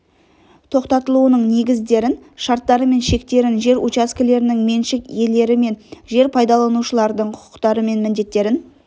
тоқтатылуының негіздерін шарттары мен шектерін жер учаскелерінің меншік иелері мен жер пайдаланушылардың құқықтары мен міндеттерін